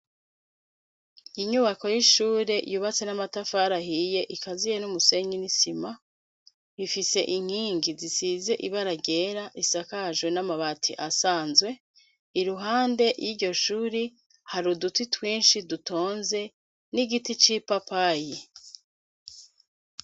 Inyubako y'ishure yubatse n'amatafari ahiye ikaziye n'umusenyi n'isima. Ifise inkingi zisize ibara ryera, isakajwe n'amabati asanzwe. Iruhande y'iryo shuri, hari uduti twinshi dutonze, n'igiti c'ipapayi.